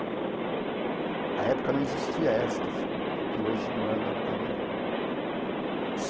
A época não existia esta figura, que hoje manda no carnaval.